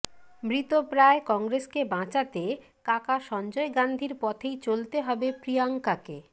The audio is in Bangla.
মৃতপ্রায় কংগ্রেসকে বাঁচাতে কাকা সঞ্জয় গাঁধীর পথেই চলতে হবে প্রিয়াঙ্কাকে